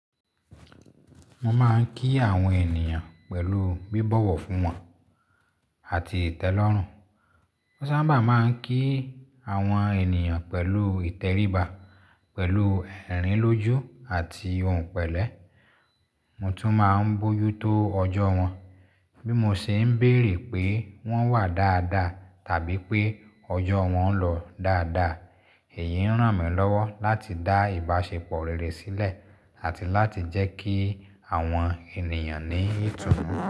Mo máa ń kí àwọn ènìyàn pẹ̀lú bíbọ̀wọ̀ fún wọn àti ìtẹ́lọ́rùn. Mo sábà máa ń kí àwọn ènìyàn pẹ̀lú ìtẹríba, pẹ̀lú ẹ̀rín lójú àti ohùn pẹ̀lẹ́. Mo tún máa ń bójú tó ọjọ́ wọn bí mo se ń béèrè pé wọ́n wà dáadáa tàbí pé ọjọ́ wọn lọ dáadáa. Èyí ń ràn mí lọ́wọ́ láti dá ìbáṣepọ̀ rere sílẹ̀ àti láti jẹ́ kí àwọn ènìyàn níì itúmọ̀.